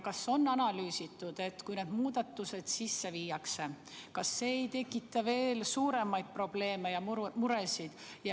Kas on analüüsitud, et kui need muudatused sisse viiakse, kas see ei tekita veel suuremaid probleeme ja muresid?